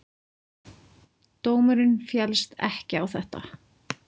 Dómurinn féllst ekki á þetta.